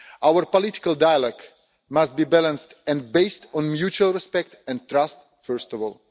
Our political dialogue must be balanced and based on mutual respect and trust first of all.